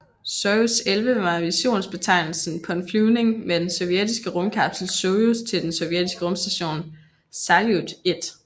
Sojuz 11 var missionsbetegnelsen på en flyvning med den sovjetiske rumkapsel Sojuz til den sovjetiske rumstation Saljut 1